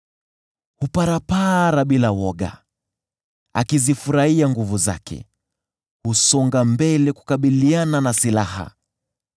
Huparapara bila woga, akizifurahia nguvu zake, husonga mbele kukabiliana na silaha.